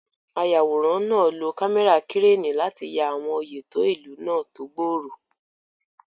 Ayàwòrán náà lo kámẹ́rà kírénì láti ya àwọn oyè tó ìlú náà tó gbòòrò.